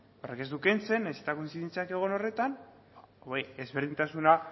nahiz eta kointzidentziak egon horretan ezberdintasuna